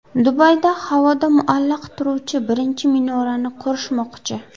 Dubayda havoda muallaq turuvchi birinchi minorani qurishmoqchi .